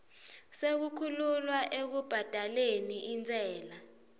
sekukhululwa ekubhadaleni intsela